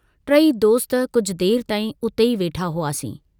टई दोस्त कुझु देर ताई उते ई वेठा हुआसीं।